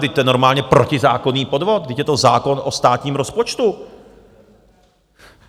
Vždyť to je normálně protizákonný podvod, vždyť je to zákon o státním rozpočtu!